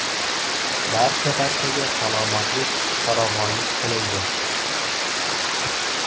Barcha-barchaga salomatlik, farovonlik tilaydi!